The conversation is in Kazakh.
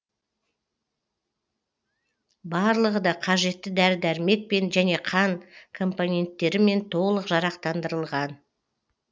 барлығы да қажетті дәрі дәрмекпен және қан компоненттерімен толық жарақтандырылған